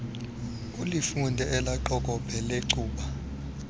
ulifunde elaqokobhe lecuba